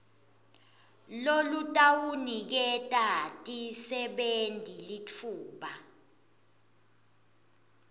lolutawuniketa tisebenti litfuba